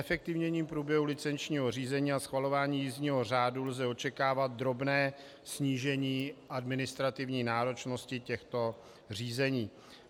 Zefektivněním průběhu licenčního řízení a schvalování jízdního řádu lze očekávat drobné snížení administrativní náročnosti těchto řízení.